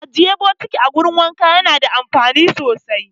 Ajiye bokati a wurin wanka yana da amfani sosai